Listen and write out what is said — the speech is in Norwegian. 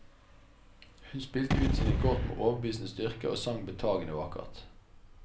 Hun spilte ut sine kort med overbevisende styrke og sang betagende vakkert.